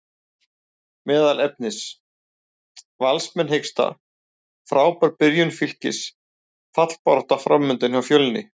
Meðal efnis: Valsmenn hiksta, Frábær byrjun Fylkis, fallbarátta framundan hjá Fjölni?